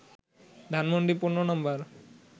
ধানমন্ডি ১৫ নম্বরে